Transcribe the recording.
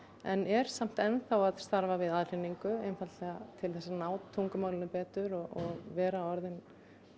en eru samt enn þá að starfa við aðhlynningu einfaldlega til að ná tungumálinu betur og vera orðin